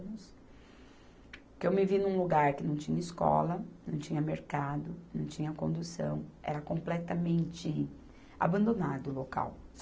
Porque eu me vi num lugar que não tinha escola, não tinha mercado, não tinha condução, era completamente abandonado o local.